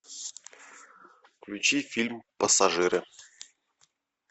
включи фильм пассажиры